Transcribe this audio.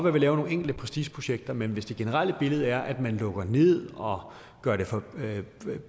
at vi laver nogle enkelte prestigeprojekter men hvis det generelle billede er at man lukker ned og gør det